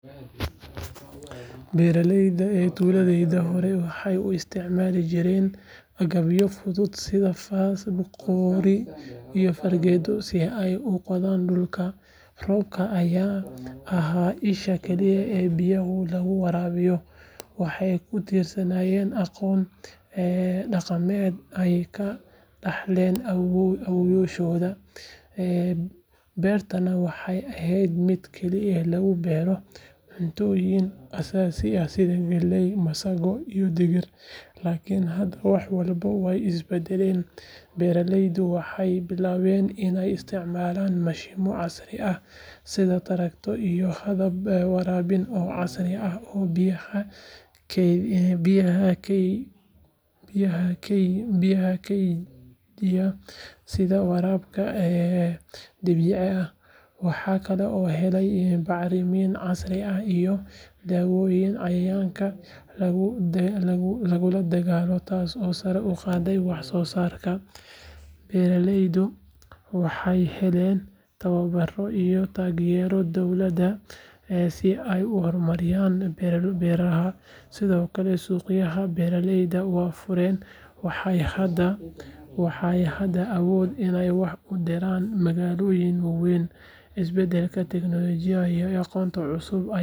Beeralayda tuuladayda horey waxay u isticmaali jireen agabyo fudud sida faas, qori iyo fargeeto si ay u qodaan dhulka, roobka ayaana ahaa isha kaliya ee biyaha lagu waraabiyo. Waxay ku tiirsanaayeen aqoon dhaqameed ay ka dhaxleen awoowayaashood, beertana waxay ahayd mid keliya lagu beero cuntooyin aasaasi ah sida galley, masago iyo digir. Laakiin hadda wax walba way isbeddeleen. Beeraleydu waxay bilaabeen inay isticmaalaan mashiinno casri ah sida traktorro, iyo habab waraabin oo casri ah oo biyaha keydiya sida waraabka dhibicda ah. Waxaa kaloo la helay bacramiye casri ah iyo daawooyin cayayaanka la dagaallama, taasoo sare u qaaday wax-soosaarka. Beeraleydu waxay helayaan tababaro iyo taageero dowladeed si ay u horumariyaan beerohooda. Sidoo kale, suuqyada beeraleydu way fureen, waxayna hadda awoodaan inay wax u diraan magaalooyinka waaweyn. Isbedelka tiknoolajiyadda iyo aqoonta cusub ayaa.